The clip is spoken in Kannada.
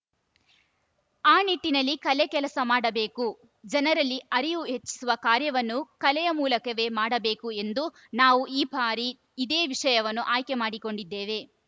ಆ ನಿಟ್ಟಿನಲ್ಲಿ ಕಲೆ ಕೆಲಸ ಮಾಡಬೇಕು ಜನರಲ್ಲಿ ಅರಿವು ಹೆಚ್ಚಿಸುವ ಕಾರ್ಯವನ್ನು ಕಲೆಯ ಮೂಲಕವೇ ಮಾಡಬೇಕು ಎಂದು ನಾವು ಈ ಬಾರಿ ಇದೇ ವಿಷಯವನ್ನು ಆಯ್ಕೆ ಮಾಡಿಕೊಂಡಿದ್ದೇವೆ